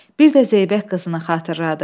Bir də zeybək qızını xatırladı.